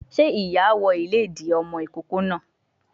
Sé ìyá wọ ìlédìí ọmọ ìkókó náà